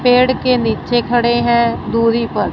पेड़ के नीचे खड़े हैं दूरी पर--